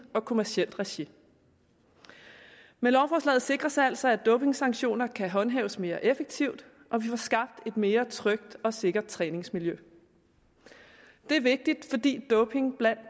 og kommercielt regi med lovforslaget sikres altså at dopingsanktioner kan håndhæves mere effektivt og vi får skabt et mere trygt og sikkert træningsmiljø det er vigtigt fordi doping blandt